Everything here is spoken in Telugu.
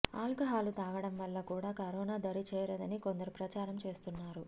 ఆల్కహాలు తాగడం వల్ల కూడా కరోనా దరిచేరదని కొందరు ప్రచారం చేస్తున్నారు